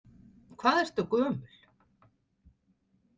Hvað ertu gömul?